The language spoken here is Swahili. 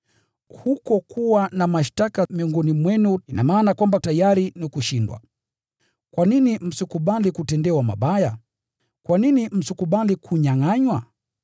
Huko kuwa na mashtaka miongoni mwenu ina maana kwamba tayari ni kushindwa kabisa. Kwa nini msikubali kutendewa mabaya? Kwa nini msikubali kunyangʼanywa?